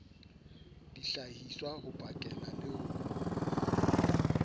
dihlahiswa ho pakela le ho